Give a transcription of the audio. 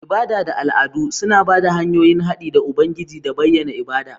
Ibada da al'adu suna ba da hanyoyin haɗi da Ubangiji da bayyana ibada.